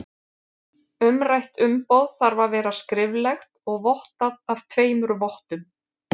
Umrætt umboð þarf að vera skriflegt og vottað af tveimur vottum.